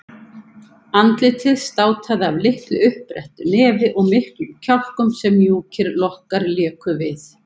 Andlitið státaði af litlu uppbrettu nefi og miklum kjálkum sem mjúkir lokkar léku við.